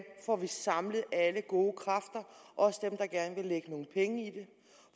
får vi samlet alle gode kræfter også dem der gerne vil lægge nogle penge i det